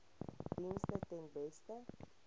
dienste ten beste